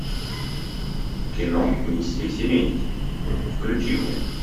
кино миссия серенити включи мне